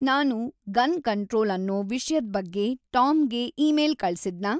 ನಾನು gun control ಅನ್ನೋ ವಿಷ್ಯದ್‌ ಬಗ್ಗೆ ಟಾಮ್‌ಗೆ ಈಮೇಲ್‌ ಕಳ್ಸಿದ್ನಾ